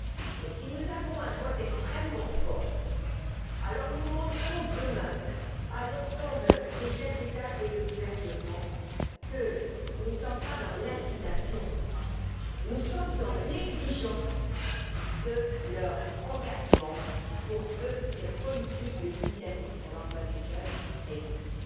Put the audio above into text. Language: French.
Mais si nous avons un vote extrêmement fort, alors nous montrerons, demain, à l'ensemble des chefs d'État ou de gouvernement, que nous ne sommes pas dans l'incitation, mais que nous exigeons leur engagement pour que cette politique de l'initiative pour l'emploi des jeunes réussisse.